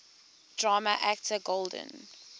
drama actor golden